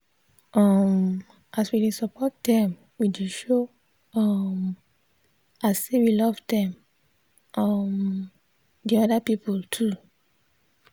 um as we dey support them we dey show um am say we love them um and other people too.